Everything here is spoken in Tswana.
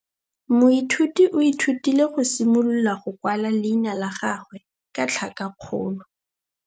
Moithuti o ithutile go simolola go kwala leina la gagwe ka tlhakakgolo.